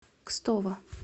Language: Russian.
кстово